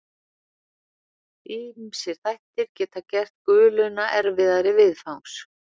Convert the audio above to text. Ýmsir þættir geta gert guluna erfiðari viðfangs.